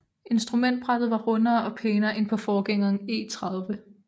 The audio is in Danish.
Instrumentbrættet var rundere og pænere end på forgængeren E30